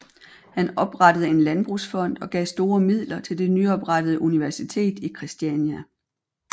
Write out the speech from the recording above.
Han oprettede en landbrugsfond og gav store midler til det nyopprettede universitet i Christiania